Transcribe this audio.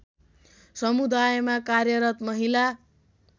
समुदायमा कार्यरत महिला